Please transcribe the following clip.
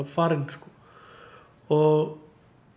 farinn sko og